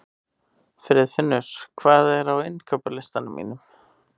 Friðfinnur, hvað er á innkaupalistanum mínum?